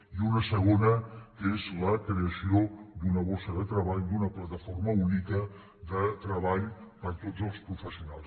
i una segona que és la creació d’una borsa de treball d’una plataforma única de treball per a tots els professionals